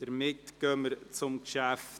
Jetzt kommen wir zum Traktandum 17.